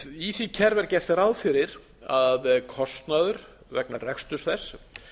í því kerfi er gert ráð fyrir að kostnaður vegna reksturs þess